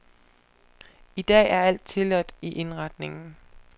I dag er alt tilladt i indretningen.